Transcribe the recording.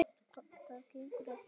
Það gengur ekki upp.